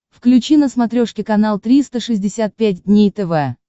включи на смотрешке канал триста шестьдесят пять дней тв